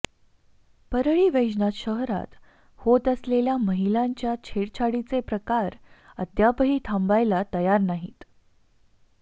परळी वैजनाथ शहरात होत असलेल्या महिलांच्या छेडछाडीचे प्रकार अद्यापही थांबायला तयार नाहीत